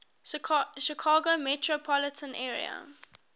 chicago metropolitan area